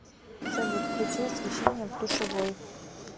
салют включи освещение в душевой